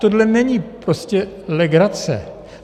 Tohle není prostě legrace.